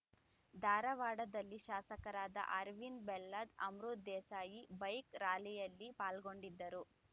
ಧಾರವಾಡದಲ್ಲಿ ಶಾಸಕರಾದ ಅರವಿಂದ ಬೆಲ್ಲದ್‌ ಅಮೃತ ದೇಸಾಯಿ ಬೈಕ್‌ ರ‍್ಯಾಲಿಯಲ್ಲಿ ಪಾಲ್ಗೊಂಡಿದ್ದರು